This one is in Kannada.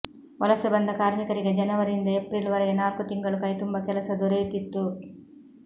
ವಲಸೆ ಬಂದ ಕಾರ್ಮಿಕರಿಗೆ ಜನವರಿಯಿಂದ ಏಪ್ರಿಲ್ ವರೆಗೆ ನಾಲ್ಕು ತಿಂಗಳು ಕೈತುಂಬ ಕೆಲಸ ದೊರೆಯುತ್ತಿತ್ತು